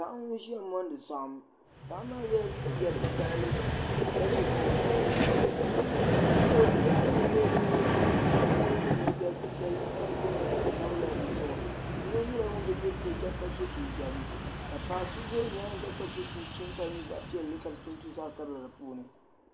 Paɣa n ʒiya mondi saɣim paɣa maa yela liiga vokaɣili ka ʒi kuɣu zuɣu bihi ayi n ʒi luɣuli zuɣu yino ye liiga piɛlli ka di booi zaɣsabila di luɣuli zuɣu yino nyela ŋun bi ye liiga ka so jinjam ka paɣa so za luɣuyinga ka so chinchini ka di nye zaɣpiɛlli ka di tonto zaɣsabila di puuni.